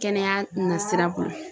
Kɛnɛya nasira b'o la